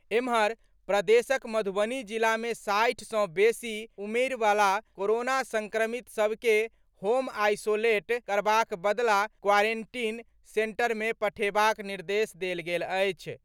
एम्हर, प्रदेशक मधुबनी जिला मे साठि सँ बेसी उमेरिवला कोरोना संक्रमित सभ के होम आईसोलेट करबाक बदला क्वारेंटीन सेंटर में पठेबाक निर्देश देल गेल अछि।